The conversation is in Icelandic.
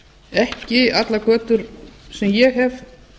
ekki allar götur sem ég hef